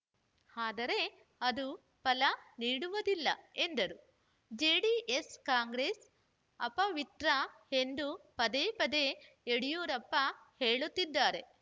ಆದರೆ ಅದು ಫಲ ನೀಡುವುದಿಲ್ಲ ಎಂದರು ಜೆಡಿಎಸ್‌ಕಾಂಗ್ರೆಸ್‌ ಅಪವಿತ್ರ ಎಂದು ಪದೇ ಪದೇ ಯಡಿಯೂರಪ್ಪ ಹೇಳುತ್ತಿದ್ದಾರೆ